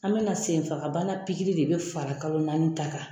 An bɛna senfagabana pikiri de bɛ fara kalo naani ta kan.